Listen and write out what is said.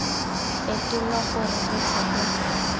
fetolwa gore re tle re